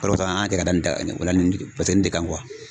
O de kosɔn an y'a kɛ da ola ni de kan